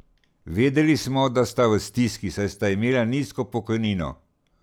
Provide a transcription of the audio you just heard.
Vedeli smo, da sta v stiski, saj sta imela nizko pokojnino.